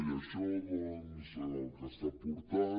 i això doncs al que està portant